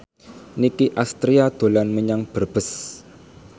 Nicky Astria dolan menyang Brebes